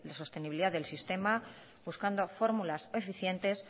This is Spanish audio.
sostenibilidad del sistema buscando fórmulas eficientes